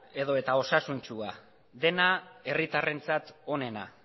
edota osasuntsua dena herritarrentzat onena